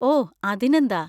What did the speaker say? O, അതിനെന്താ!.